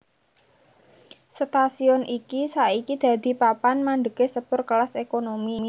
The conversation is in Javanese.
Stasiun iki saiki dadi papan mandhegé sepur kelas ékonomi